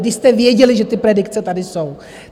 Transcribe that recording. Když jste věděli, že ty predikce tady jsou?